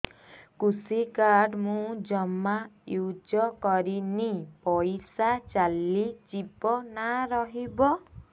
କୃଷି କାର୍ଡ ମୁଁ ଜମା ୟୁଜ଼ କରିନି ପଇସା ଚାଲିଯିବ ନା ରହିବ